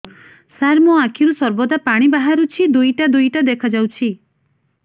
ସାର ମୋ ଆଖିରୁ ସର୍ବଦା ପାଣି ବାହାରୁଛି ଦୁଇଟା ଦୁଇଟା ଦେଖାଯାଉଛି